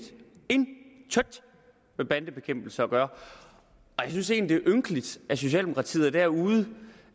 intet med bandebekæmpelse af gøre og jeg synes egentlig det er ynkeligt at socialdemokratiet er derude